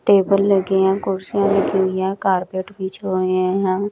Table लगी है कुर्सियां लगी हुई है कारपेट बिछे हुई है यहां।